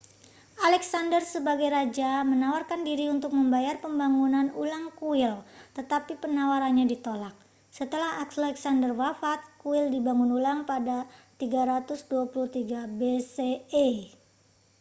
alexander sebagai raja menawarkan diri untuk membayar pembangunan ulang kuil tetapi penawarannya ditolak setelah alexander wafat kuil dibangun ulang pada 323 bce